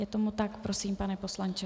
Je tomu tak, prosím, pane poslanče.